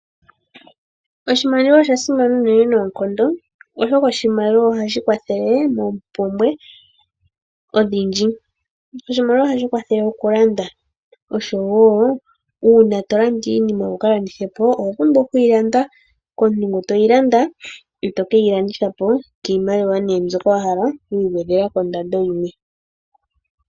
Oshimaliwa osha simana unene noonkondo oshoka oshimaliwa ohashi kwathele moompumbwe odhindji. Oshimaliwa ohashi kwathele okulanda nuuna to landa iinima wuka landithepo oho pumbwa okuyi landa komuntu eto keyi landithapo kiimaliwa mbyoka wahala wu igwedhelako ondando yimwe.